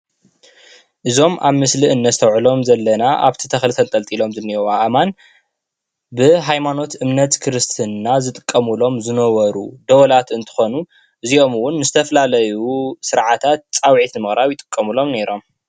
እዞም አብ ምስሊ እነስተውዕሎም ዘለና አብቲ ተከሊ ተንጠልጢሎም ዘለው አእማነ ብሃይማኖት እምነት ክርስትና ዝጥቀምሉ ዝነበሩ ደወላት እንትኾኑ እዚኦም እውን ንዝተፈላለዩ ስርዓታተ ፃዊዕት ንምቅራብ ይጥቀሙሉ ነይሮም።